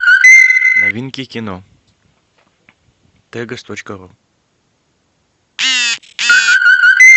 новинки кино тегос точка ру